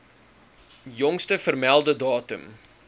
jongste vermelde datum